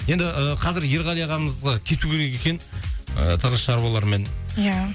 енді ы қазір ерғали ағамызға кету керек екен ы тығыз шаруалармен иә